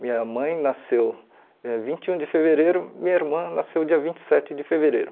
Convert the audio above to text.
Minha mãe nasceu eh vinte e um de fevereiro, minha irmã nasceu dia vinte e sete de fevereiro.